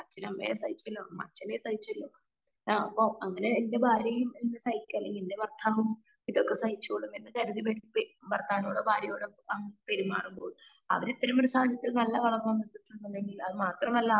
അച്ഛൻ അമ്മയെ സഹിച്ചല്ലോ അമ്മ അച്ഛനെ സഹിച്ചല്ലോ ആ അപ്പൊ എന്റെ ഭാര്യയും സഹിക്ക അല്ലെങ്കി എന്റെ ഭർത്താവും ഇതൊക്കെ സഹിച്ചോളും എന്ന് കരുതി ഭർത്താവിനോടും ഭാര്യനോടും അങ്ങനെ പെരുമാറുമ്പോൾ അവർ ഇത്രേം വലിയ സാഹചര്യത്തിൽ വളർന്ന് വന്നിട്ട് ഇല്ലെങ്കിൽ അത് മാത്രമല്ല